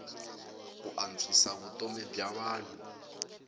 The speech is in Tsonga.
ku antswisa vutomi bya vanhu